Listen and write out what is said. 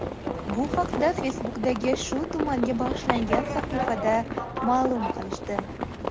Bu haqda Facebook’dagi shu tumanga bag‘ishlangan sahifada ma’lum qilishdi .